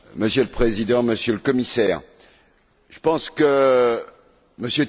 Monsieur le Président, Monsieur le Commissaire, je pense que M.